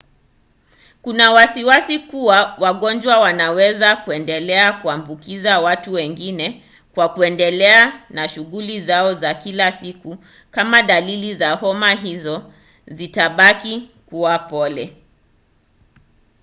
kuna wasiwasi kuwa wagonjwa wanaweza kuendelea kuambukiza watu wengi kwa kuendelea na shughuli zao za kila siku kama dalili za homa hiyo zitabaki kuwa pole